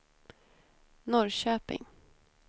Norrköping